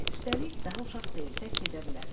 Hə, üstəlik, daha uşaq deyil, tək gedə bilər.